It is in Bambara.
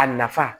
A nafa